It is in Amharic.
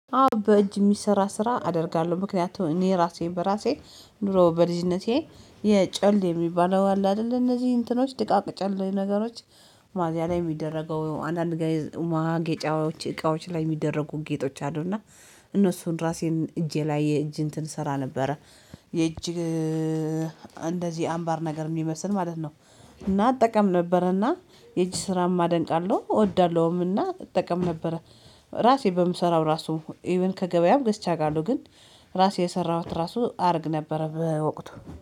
አዎ በእጅ የሚሰራ ስራ አደርጋለሁ። ምክንያቱም እኔ ራሴን በራሴ ኑሮ በልጅነቴ የጨል የሚባለው አለ አይደል እነዚህ እንትኖች ድቃቅ ጨል ነገሮች ማዚያ ላይ የሚደረገው አንዳንድ ጋር ማጌጫዎች እቃዎች ላይ የሚደረጉ ጌጦች አሉና። እነሱን ራሴን እጄ ላይ የእጅ እንትን ስራ ነበረ የእጅ እንደዚህ አምባር ነገር የሚመስል ማለት ነው እና እጠቀም ነበረና። የእጅ ስራ ማደንቃለሁ እወዳለሁምና እጠቀም ነበረ። ራሴ በምሰራው ራሱ ኢቭን ከገበያም አቃለሁ ግን ራሴ የሰራሁት ራሱ አድርግ ነበረ በወቅቱ